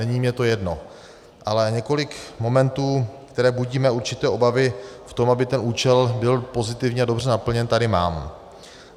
Není mi to jedno, ale několik momentů, které budí mé určité obavy v tom, aby ten účel byl pozitivně a dobře naplněn, tady mám.